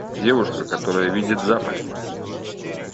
девушка которая видит запахи